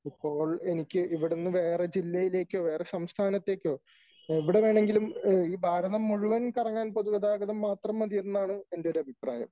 ഇപ്പോൾ എനിക്ക് ഇവിടന്നു വേറെ ജില്ലയിലേക്കൊ വേറെ സംസ്ഥാനത്തേക്കോ എവിടെ വേണമെങ്കിലും ഈ ഭാരതം മുഴുവൻ കറങ്ങാൻ പൊതുഗതാഗതം മാത്രം മതി എന്നാണ് എന്റെ ഒരു അഭിപ്രായം .